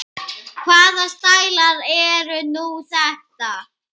Hvaða stælar eru nú þetta?